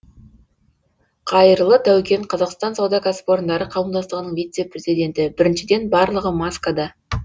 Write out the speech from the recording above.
қайырлы таукен қазақстан сауда кәсіпорындары қауымдастығының вице президенті біріншіден барлығы маскада